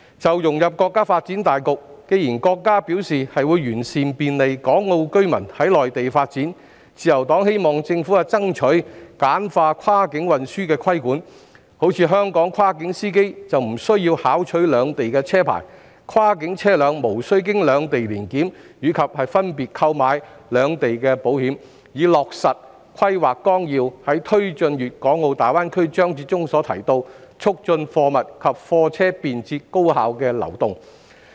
就融入國家發展大局，既然國家表示會完善便利港澳居民在內地發展的政策措施，自由黨希望政府爭取簡化跨境運輸的規管，例如香港跨境司機無須考取兩地車牌，以及跨境車輛無須經兩地年檢及分別購買兩地的保險，以落實規劃綱要在"推進粵港澳大灣區"章節中所提及的"促進貨物及車輛便捷高效的流動"。